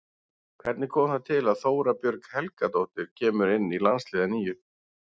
Hvernig kom það til að Þóra Björg Helgadóttir kemur inn í landsliðið að nýju?